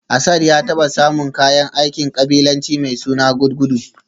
Asad ya taba samun kayan aikin kabilanci mai suna gudgudu